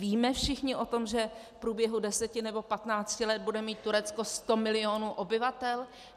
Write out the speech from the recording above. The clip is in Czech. Víme všichni o tom, že v průběhu deseti nebo patnácti let bude mít Turecko sto milionů obyvatel?